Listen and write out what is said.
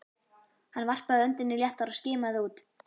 Hann varpaði öndinni léttar og skimaði út.